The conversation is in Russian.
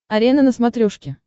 арена на смотрешке